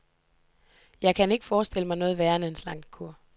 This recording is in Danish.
Jeg kan ikke forestille mig noget værre end en slankekur.